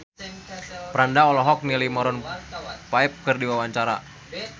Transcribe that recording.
Franda olohok ningali Maroon 5 keur diwawancara